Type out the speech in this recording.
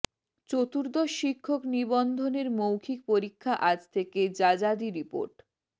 চতুর্দশ শিক্ষক নিবন্ধনের মৌখিক পরীক্ষা আজ থেকে যাযাদি রিপোর্ট